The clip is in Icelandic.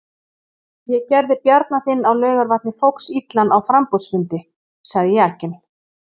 Ég gerði Bjarna þinn á Laugarvatni foxillan á framboðsfundi, sagði Jakinn.